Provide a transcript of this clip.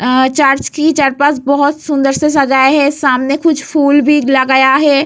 अ church की बहुत सुन्दर से सजाया है सामने कुछ फूल भी लगाया है।